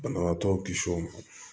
Banabaatɔ kisi o ma